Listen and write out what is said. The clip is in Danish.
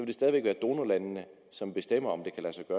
det stadig væk være donorlandene som bestemmer om